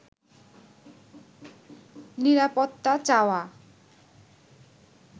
নিরাপত্তা চাওয়া